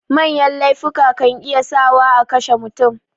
Manya laifuka kan iya sa wa akashe mutum